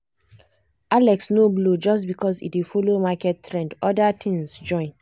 alex no blow just because e dey follow market trend — other things join.